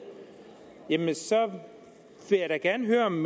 jamen så vil jeg da gerne høre om